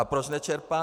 A proč nečerpá?